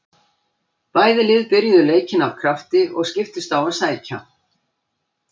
Bæði lið byrjuðu leikinn af krafti og skiptust á að sækja.